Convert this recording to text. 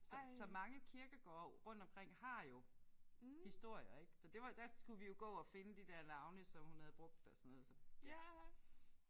Så så mange kirkegårde rundt omkring har jo historier ik så det var der skulle vi jo gå og finde de der navne som hun havde brugt og sådan noget så ja